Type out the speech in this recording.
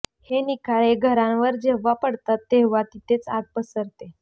हे निखारे घरांवर जेव्हा पडतात तेव्हा तिथेही आग पसरते